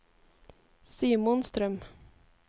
Simon Strøm